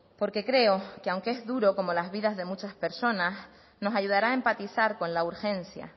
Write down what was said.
porque creo que aunque es duro como las vidas de muchas personas nos ayudará a empatizar con la urgencia